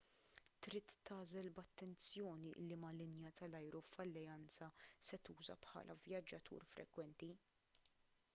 trid tagħżel b'attenzjoni liema linja tal-ajru f'alleanza se tuża bħala vjaġġatur frekwenti